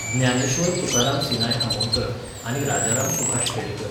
ज्ञानेश्वर तुकाराम सिनाय आमोणकर, आनी राजाराम सुभाष खेडेकर